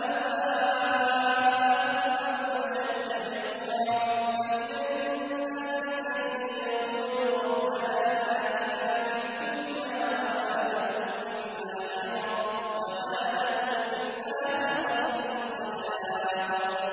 آبَاءَكُمْ أَوْ أَشَدَّ ذِكْرًا ۗ فَمِنَ النَّاسِ مَن يَقُولُ رَبَّنَا آتِنَا فِي الدُّنْيَا وَمَا لَهُ فِي الْآخِرَةِ مِنْ خَلَاقٍ